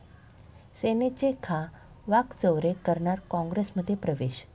सेनेचे खा. वाकचौरे करणार काँग्रेसमध्ये प्रवेश